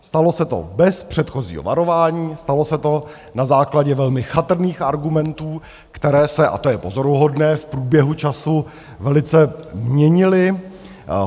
Stalo se to bez předchozího varování, stalo se to na základě velmi chatrných argumentů, které se - a to je pozoruhodné - v průběhu času velice měnily.